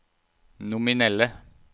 nominelle